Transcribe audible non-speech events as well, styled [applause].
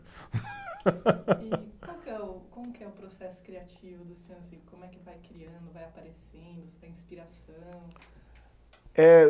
[laughs] E, qual que é o, como que é o processo criativo do senhor, assim, como é que vai criando, vai aparecendo, sua inspiração. [unintelligible] Eh